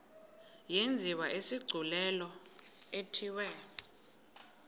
yenziwe isigculelo ithiwe